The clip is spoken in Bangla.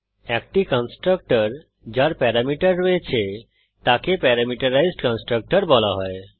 একটি কন্সট্রকটর যার প্যারামিটার রয়েছে তাকে প্যারামিটারাইজড কন্সট্রকটর বলা হয়